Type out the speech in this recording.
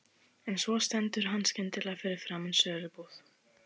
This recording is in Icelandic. En svo stendur hann skyndilega fyrir framan sölubúð